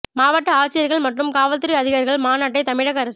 மாவட்ட ஆட்சியர்கள் மற்றும் காவல் துறை அதிகாரிகள் மாநாட்டை தமிழக அரசு